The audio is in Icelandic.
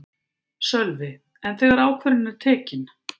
Sölvi: En þegar ákvörðunin er tekin?